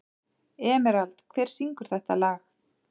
Emerald, hver syngur þetta lag?